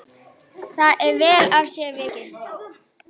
Það er vel af sér vikið.